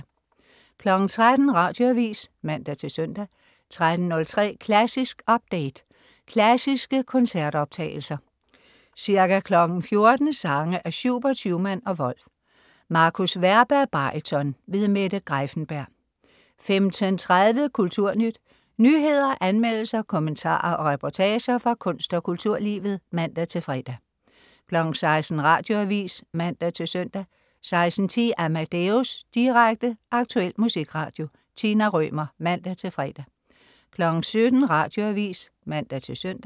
13.00 Radioavis (man-søn) 13.03 Klassisk update. Klassiske koncertoptagelser. Ca. 14.00 Sange af Schubert, Schumann og Wolf. Markus Werba, baryton. Mette Greiffenberg 15.30 Kulturnyt. Nyheder, anmeldelser, kommentarer og reportager fra kunst- og kulturlivet (man-fre) 16.00 Radioavis (man-søn) 16.10 Amadeus. Direkte, aktuel musikradio. Tina Rømer (man-fre) 17.00 Radioavis (man-søn)